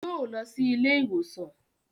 Yóò lọ sí ilé ìwòsàn